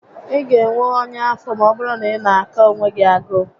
Ị ga enwe ọnya afọ maọbụrụ na ị na aka onwe gị agụụ